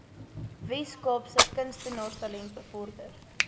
weskaapse kunstenaarstalent bevorder